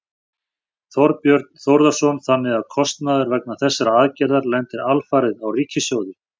Þorbjörn Þórðarson: Þannig að kostnaður vegna þessarar aðgerðar lendir alfarið á ríkissjóði?